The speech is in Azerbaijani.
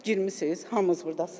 Bax girmisiz.